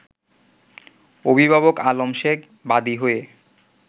অভিভাবক আলম শেখ বাদী হয়ে